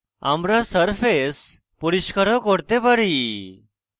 আমরা সারফেস পরিষ্কার ও করতে পারি